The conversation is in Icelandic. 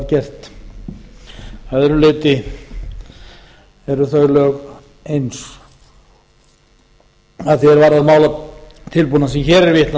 gert að öðru leyti eru þau lög eins að því er varðar málatilbúnað sem hér er vitnað